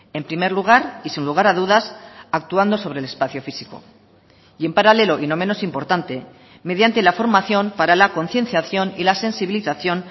en primer lugar y sin lugar a dudas actuando sobre el espacio físico y en paralelo y no menos importante mediante la formación para la concienciación y la sensibilización